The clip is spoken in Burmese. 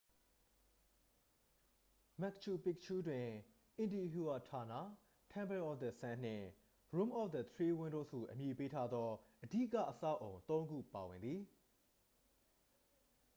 မက်ပ်ချူ ပီပ်ချူး တွင် intihuatana temple of the sun နှင့် room of the three windows ဟုအမည်ပေးထားသော အဓိက အဆောက်အအုံ သုံးခုပါဝင်သည်